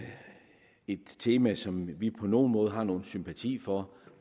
et tema som vi på nogen måde har nogen sympati for